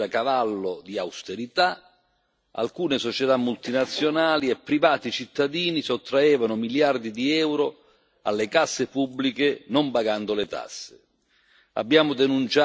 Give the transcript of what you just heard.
venivano imposte cure da cavallo di austerità, alcune società multinazionali e privati cittadini sottraevano miliardi di euro alle casse pubbliche non pagando le tasse.